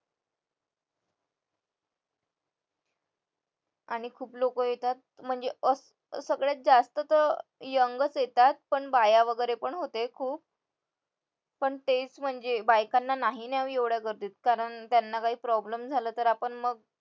आणि खूप लोक येतात म्हणजे सगळ्यात जास्त तर young च येतात पण बाया वगैरे पण होते खूप पण ते म्हणजे बायकांना नाही न्यावं एवढ्या गर्दीत कारण त्यांना काही problem झाला तर आपण मग